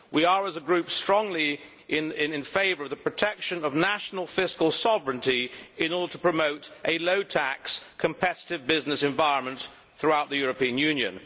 We are as a group strongly in favour of the protection of national fiscal sovereignty in order to promote a low tax competitive business environment throughout the European Union.